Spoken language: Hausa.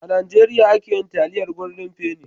A Najeriya ake yi taliyar goldin feni. (Golden penny)